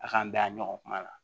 A k'an bɛn a ɲɔgɔn kuma la